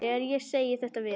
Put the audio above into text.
Þegar ég segi þetta við